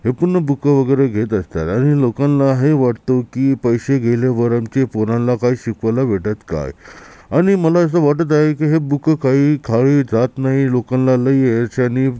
येथून बूक वगैरे घेत असतात आणि लोकांना है वाटतो की पैसे गेले की पोरांना काय शिकवायला भेटत काय आणि मला अस वाटत आहे की है बूक काही जात नाही है लोकांना लय हयाच्यांनी--